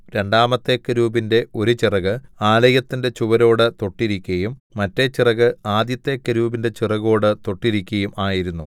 രണ്ടാമത്തെ കെരൂബിന്റെ ഒരു ചിറകു ആലയത്തിന്റെ ചുവരോടു തൊട്ടിരിക്കയും മറ്റെ ചിറക് ആദ്യത്തെ കെരൂബിന്റെ ചിറകോടു തൊട്ടിരിക്കയും ആയിരുന്നു